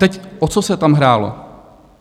Teď o co se tam hrálo.